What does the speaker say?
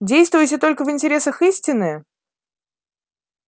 действуете только в интересах истины